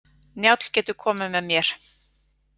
Njáll getur komið með mér.